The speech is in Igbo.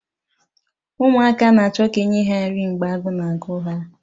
Ụmụaka na-achọ ka e nye ha nri mgbe agụụ na-agụ ha